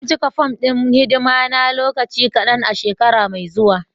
Zan cika fom ɗin hidima na lokaci kadan a shekara mai zuwa.